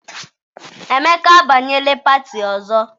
Emeka abanyela pati ọzọ.